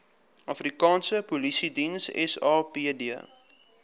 afrikaanse polisiediens sapd